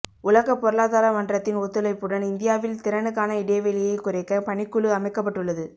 உலக பொருளாதார மன்றத்தின் ஒத்துழைப்புடன் இந்தியாவில் திறனுக்கான இடைவெளியை குறைக்க பணிக்குழு அமைக்கப்பட்டுள்ளது